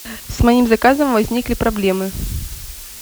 с моим заказом возникли проблемы